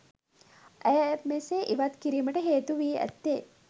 ඇය මෙසේ ඉවත් කිරීමට හේතුවී ඇත්තේ